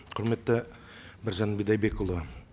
құрметті біржан бидайбекұлы